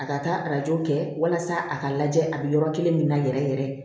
A ka taa arajo kɛ walasa a ka lajɛ a bɛ yɔrɔ kelen min na yɛrɛ yɛrɛ